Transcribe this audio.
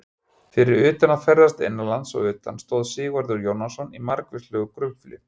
Fyrir utan að ferðast innanlands og utan stóð Sigvarður Jónasson í margvíslegu grufli.